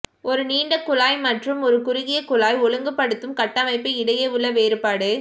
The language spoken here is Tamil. ஒரு நீண்ட குழாய் மற்றும் ஒரு குறுகிய குழாய் ஒழுங்குபடுத்தும் கட்டமைப்பு இடையே உள்ள வேறுபாடு